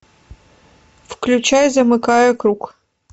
включай замыкая круг